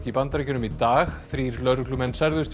í Bandaríkjunum í dag þrír lögreglumenn særðust